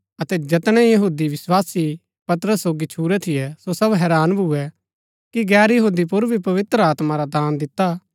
अतै जैतनै यहूदी विस्वासी पतरस सोगी छुरै थियै सो सब हैरान भुऐ कि गैर यहूदी पुर भी पवित्र आत्मा रा दान दिता